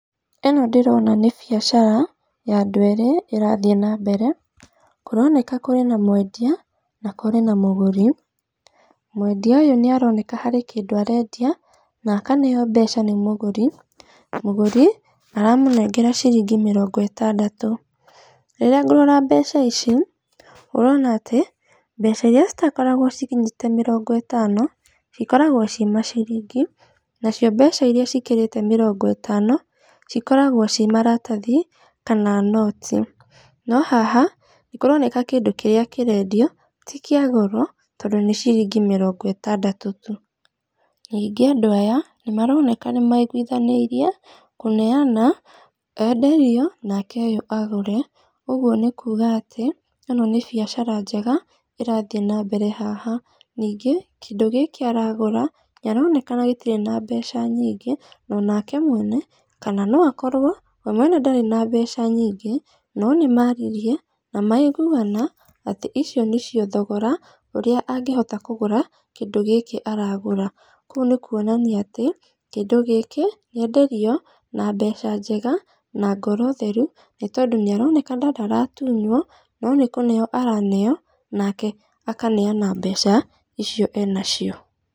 Ĩno ndĩrona nĩ biacara, ya andũ erĩ ĩrathiĩ na mbere. Kũroneka kũrĩ na mwendia na kũrĩ na mũgũri. Mwendia ũyũ nĩaroneka kũrĩ na kĩndũ arendia na akaneo mbeca nĩ mũgũri. Mũgũri aramũnengera ciringi mĩrongo ĩtandatũ. Rĩrĩa ngũrora mbeca ici, ũrona atĩ mbeca iria citakoragwo cikinyĩte mĩrongo ĩtano, cikoragwo ci maciringi, nacio mbeca iria cikĩrĩte mĩrongo ĩtano cikoragwo ci maratathi kana noti. No haha, nĩkũroneka kĩndũ kĩrĩa kĩrendio ti kĩa goro tondũ nĩ ciringi mĩrongo ĩtandatũ tu. Ningĩ andũ aya nĩmaroneka nĩmaiguithanĩirie kũneana enderio nake ũyũ agũre. Ũguo nĩ kuga atĩ ĩno nĩ biacara njega ĩrathiĩ na mbere haha. Ningĩ kĩndũ gĩkĩ aragũra, nĩaronekana gĩtirĩ na mbeca nyingĩ, na onake mwene, kana no akorwo we mwene ndarĩ na mbeca nyingĩ no nĩmaririe, na maiguana atĩ icio nĩcio thogora ũrĩa angĩota kũgũra kĩndũ gĩkĩ aragũra. Kũu nĩ kuonania atĩ kĩndũ gĩkĩ nĩenderio na mbeca njega na ngoro theru nĩtondũ nĩaronekana ndaratunywo, no nĩ kũneo araneo, nake akaneana mbeca icio enacio.